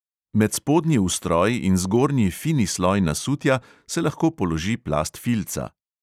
Med spodnji ustroj in zgornji fini sloj nasutja se lahko položi plast filca.